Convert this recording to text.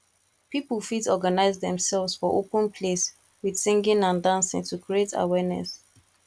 pipo fit organise themselves for open place with singing and dancing to create awareness